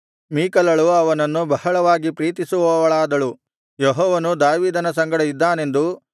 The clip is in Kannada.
ಮೀಕಲಳು ಅವನನ್ನು ಬಹಳವಾಗಿ ಪ್ರೀತಿಸುವವಳಾದಳು ಯೆಹೋವನು ದಾವೀದನ ಸಂಗಡ ಇದ್ದಾನೆಂದು